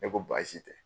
Ne ko baasi tɛ